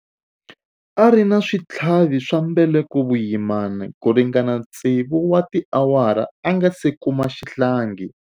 A ri na switlhavi swa mbeleko vuyimani ku ringana tsevu wa tiawara a nga si kuma xihlangi.